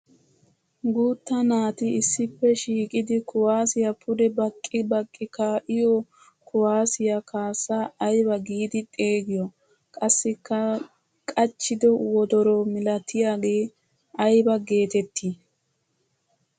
Guutta naati issippe shiiqidi kuwasiya pude baqqi baqqi kaa'iyo kuwasiya kaassa ayba giiidi xeegiyo? Qassikka qachchiddo wddoro millattiyaage ayba geetetti?